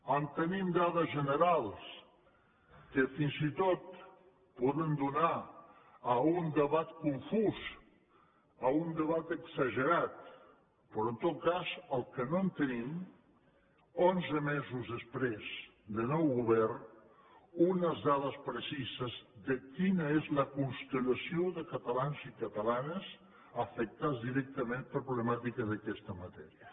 en tenim dades generals que fins i tot poden donar a un debat confús a un debat exagerat però en tot cas el que no tenim onze mesos després de nou govern és unes dades precises de quina és la constellació de catalans i catalanes afectats directament per problemàtiques d’aquesta matèria